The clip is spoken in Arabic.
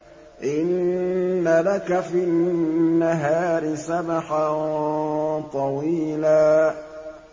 إِنَّ لَكَ فِي النَّهَارِ سَبْحًا طَوِيلًا